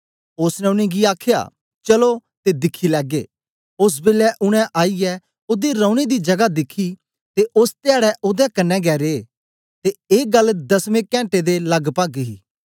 ओसने उनेंगी गी आखया चलो ते दिखी लैगे ओस बेलै उनै आईयै ओदे रौने दी जगा दिखी ते ओस धयाडै ओदे कन्ने गै रे ते ए गल्ल दसमे कैंटे दे लगभग ही